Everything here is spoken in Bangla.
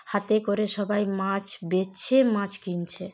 হাতে করে সবাই মাছ বেছে মাছ কিনছে।